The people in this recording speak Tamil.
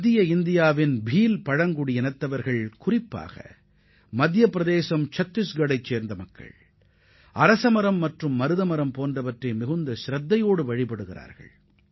மத்திய இந்தியாவில் குறிப்பாக மத்தியப் பிரதேசம் மற்றும் சத்திஷ்கரில் வசிக்கும் பில் பழங்குடியின மக்கள் பீப்பால் மற்றும் அர்ஜுன் மரங்களை வழிபடுகின்றனர்